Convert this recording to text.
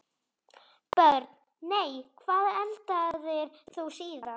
Börn: Nei Hvað eldaðir þú síðast?